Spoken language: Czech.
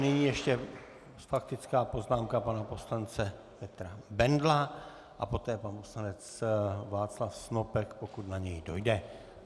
Nyní ještě faktická poznámka pana poslance Petra Bendla a poté pan poslanec Václav Snopek, pokud na něj dojde.